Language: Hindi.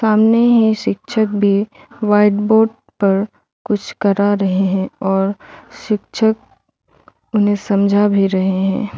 सामने ही शिक्षक भी व्हाइट बोर्ड पर कुछ करा रहे है और शिक्षक उन्हें समझा भी रहें हैं।